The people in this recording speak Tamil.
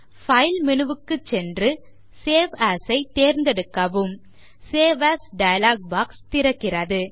பைல் menu க்குச் சென்று சேவ் ஏஎஸ் ஐ தேர்ந்தெடுக்கவும் சேவ் ஏஎஸ் டயலாக் பாக்ஸ் திறக்கப்படுகிறது